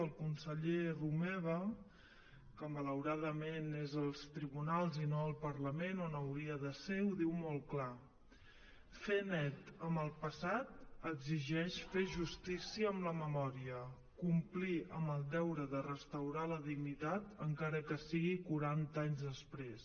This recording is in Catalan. el conseller romeva que malauradament és als tribunals i no al parlament on hauria de ser ho diu molt clar fer net amb el passat exigeix fer justícia amb la memòria complir amb el deure de restaurar la dignitat encara que sigui quaranta anys després